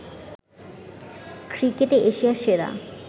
ক্রিকেটে এশিয়া সেরা